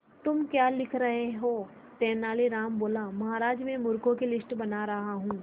तुम क्या लिख रहे हो तेनालीराम बोला महाराज में मूर्खों की लिस्ट बना रहा हूं